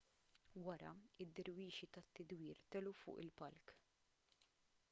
wara id-dirwixi tad-tidwir telgħu fuq il-palk